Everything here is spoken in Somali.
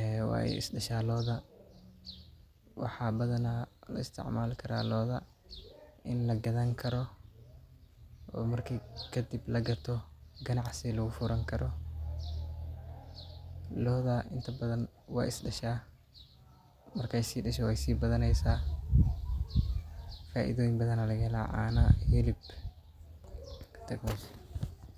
ee wey isdasha lodha waxaa badana laisticmali karaa lodha ini lagadhani karo oo marki kadib ganacsi lagu furo lodha inta badan we isdasha marke isdasho weysi badane faidoyin badan aya laga hela cana hilib intas.